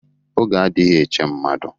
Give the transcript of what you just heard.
Oge adịghị eche mmadu